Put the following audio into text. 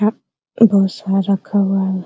बहुत सारा रखा हुआ है ।